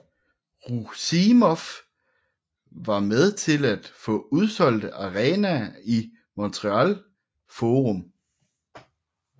Roussimoff var med til at få udsolgte arenaer i Montreal Forum